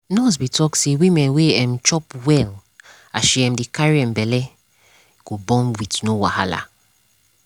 nurse be talk say woman wey um chop well as she um dey carry um belle go born with no wahala